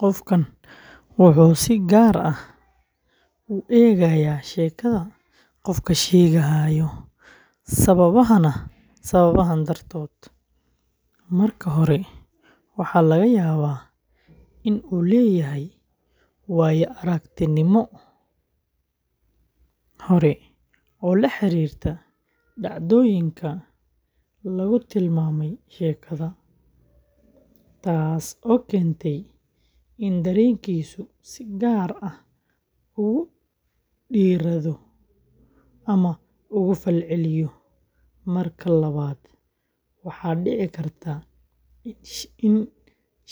Qofkaan wuxuu si gaar ah u eegayaa sheekada sheegaha sababahan dartood: marka hore, waxaa laga yaabaa in uu leeyahay waayo-aragnimo hore oo la xiriirta dhacdooyinka lagu tilmaamay sheekada, taasoo keentay in dareenkiisu si gaar ah ugu dheeraado ama uga falceliyo; marka labaad, waxaa dhici karta in